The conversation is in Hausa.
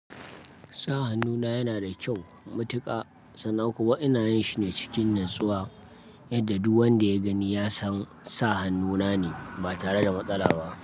Sa hannuna yana da kyau, matuƙa, sannan kuma ina yin shi ne cikin natsuwa yadda duk wanda ya gani ya san sa hannuna ne ba tare da matsala ba.